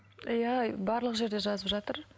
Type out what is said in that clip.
иә барлық жерде жазып жатыр